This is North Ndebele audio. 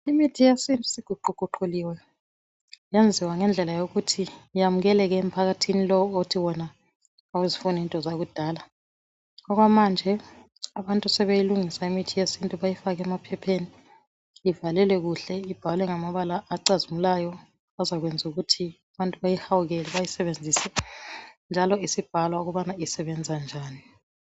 Imithi yesintu siguquguquliwe yenziwa ngendlela yokuthi yamukeleke emphakathini lowu othi wona awuzifuni into zakudala .Okwamanje abantu sebeyilungisa imithi yesintu bayifake emaphepheni ivalelwe kuhle ibhalwe ngamabala acazimulayo .Azakwenzu kuthi abantu bayihawukele bayisebenzise .Njalo isibhalwa ukubana isebenza njani .